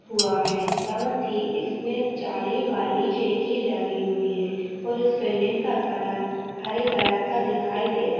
हुआ है। साथ ही इसमें जाली वाली खिड़की लगी हुई है और इस बिलिंग का कलर हरे रंग का दिखाई दे रहा --